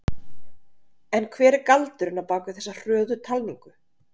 En hver er galdurinn á bakvið þessi hröðu talningu?